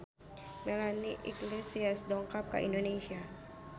Melanie Iglesias dongkap ka Indonesia